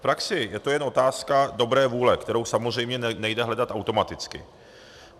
V praxi je to jen otázka dobré vůle, kterou samozřejmě nejde hledat automaticky.